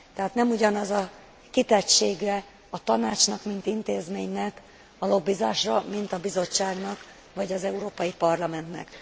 Tehát nem ugyanaz a kitettsége a Tanácsnak, mint intézménynek a lobbizásra, mint a Bizottságnak, vagy az Európai Parlamentnek.